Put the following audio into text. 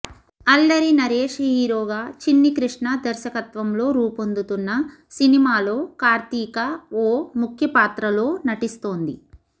అల్లరి నరేష్ హీరోగా చిన్ని కృష్ణ దర్శకత్వంలో రూపొందుతున్న సినిమాలో కార్తిక ఓ ముఖ్య పాత్రలో నటిస్తోంది